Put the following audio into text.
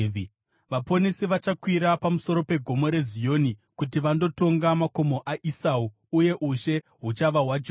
Vaponesi vachakwira pamusoro peGomo reZioni, kuti vandotonga makomo aEsau. Uye ushe huchava hwaJehovha.